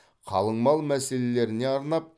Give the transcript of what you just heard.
қалыңмал мәселелеріне арнап